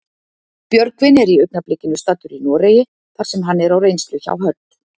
Björgvin er í augnablikinu staddur í Noregi þar sem hann er á reynslu hjá Hödd.